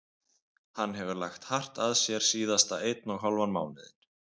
Hann hefur lagt hart að sér síðasta einn og hálfan mánuðinn.